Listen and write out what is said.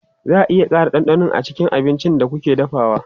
Za a iya ƙara ɗanɗano a cikin abincin da kuke dafawa?